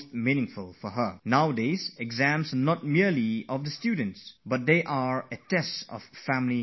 Exams are not just for the students, they also put the students' families, schools and teachers to test